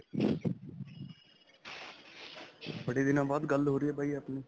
ਬੜੇ ਦਿਨਾਂ ਬਾਅਦ ਗੱਲ ਹੋ ਰਹੀ ਹੈਂ ਬਾਈ ਆਪਣੀ.